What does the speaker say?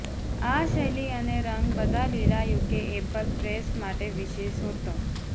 આ શૈલી અને રંગ બધા લીલા યુકે એપલ પ્રેસ માટે વિશિષ્ટ હતો